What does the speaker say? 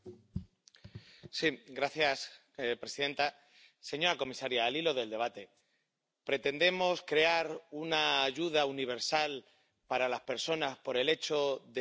Señora presidenta, señora comisaria, al hilo del debate, ¿pretendemos crear una ayuda universal para las personas por el hecho de ser ciudadanos?